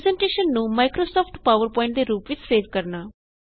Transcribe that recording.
presentation ਨੂੰ Microsoft PowerPoint ਦੇ ਰੂਪ ਵਿੱਚ ਸੇਵ ਕਰਨਾ